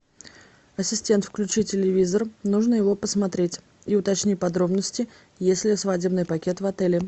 ассистент включи телевизор нужно его посмотреть и уточни подробности есть ли свадебный пакет в отеле